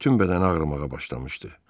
Bütün bədəni ağrımağa başlamışdı.